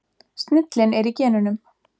Snillin er í genunum.